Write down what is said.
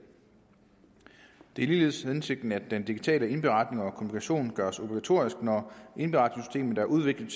det er ligeledes hensigten at den digitale indberetning og kommunikation gøres obligatorisk når indberetningssystemet er udviklet